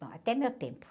Bom, até meu tempo.